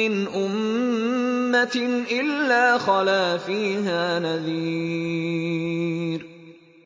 مِّنْ أُمَّةٍ إِلَّا خَلَا فِيهَا نَذِيرٌ